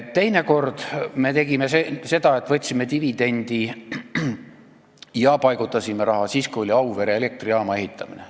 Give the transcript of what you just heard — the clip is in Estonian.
Teinekord tegime seda, et võtsime dividendi ja paigutasime raha ära siis, kui oli Auvere elektrijaama ehitamine.